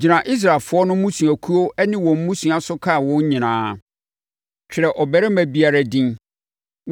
“Gyina Israelfoɔ no mmusuakuo ne wɔn mmusua so kan wɔn nyinaa. Twerɛ ɔbarima biara din.